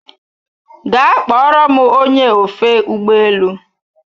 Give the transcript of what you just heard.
Gaa kpọrọ m ony! e ofe ụgbọ elu